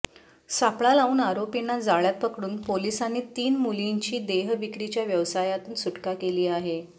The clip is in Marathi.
सापळा लावून आरोपींना जाळ्यात पकडून पोलिसांनी तीन मुलींची देह विक्रीच्या व्यवसायातून सुटका केली आहे